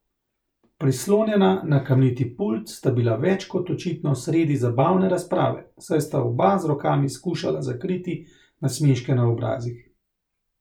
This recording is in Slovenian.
Prislonjena na kamniti pult sta bila več kot očitno sredi zabavne razprave, saj sta oba z rokami skušala zakriti nasmeške na obrazih.